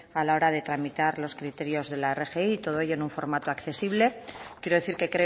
a la hora de tramitar los criterios de la rgi todo ello en un formato accesible quiero decir que